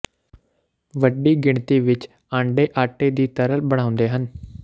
ਵੱਡੀ ਗਿਣਤੀ ਵਿਚ ਆਂਡੇ ਆਟੇ ਦੀ ਤਰਲ ਬਣਾਉਂਦੇ ਹਨ